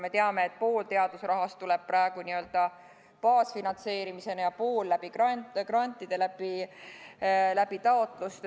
Me teame, et pool teadusrahast tuleb praegu n-ö baasfinantseeringuna ja pool läbi grantide, taotluste.